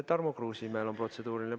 Tarmo Kruusimäel on protseduuriline.